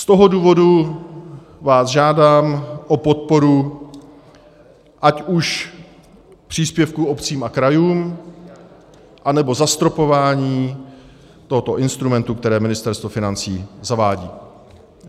Z toho důvodu vás žádám o podporu ať už příspěvkům obcím a krajům, anebo zastropování tohoto instrumentu, které Ministerstvo financí zavádí.